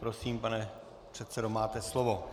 Prosím, pane předsedo, máte slovo.